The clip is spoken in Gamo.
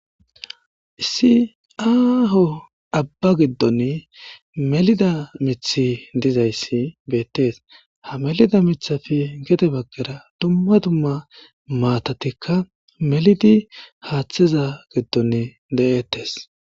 Issi aaho abba giddon melida mithi dizayssi beettees ha melida mithafi gede baggera dumma dumma maatatikka melidi haaththiza giddon de'ettes.